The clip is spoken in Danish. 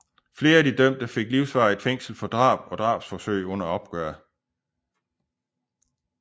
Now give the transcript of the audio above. Flere af de dømte fik livsvarigt fængsel for drab og drabsforsøg under opgøret